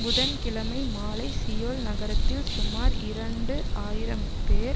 புதன் கிழமை மாலை சியோல் நகரத்தில் சுமார் இரண்டு ஆயிரம்பேர்